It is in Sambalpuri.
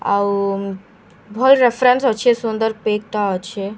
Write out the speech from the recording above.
ଆଉ ଭଲ୍‌ ରେଫରେନ୍ସ ଅଛେ ସୁନ୍ଦର ପେକ୍‌ ଟା ଅଛେ।